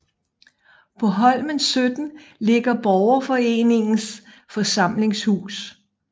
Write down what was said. På Holmen 17 ligger Borgerforeningens forsamlingshus